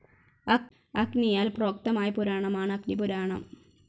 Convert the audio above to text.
അഗ്നിയാൽ പ്രോക്തമായ പുരാണമാണ് അഗ്നിപുരാണം.